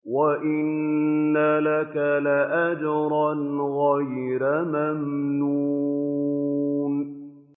وَإِنَّ لَكَ لَأَجْرًا غَيْرَ مَمْنُونٍ